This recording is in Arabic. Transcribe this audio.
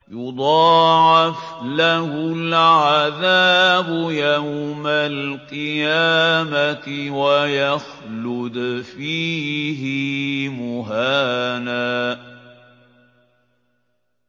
يُضَاعَفْ لَهُ الْعَذَابُ يَوْمَ الْقِيَامَةِ وَيَخْلُدْ فِيهِ مُهَانًا